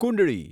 કુંડળી